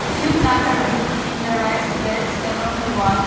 A few plants are visible in the rice bags along the wall.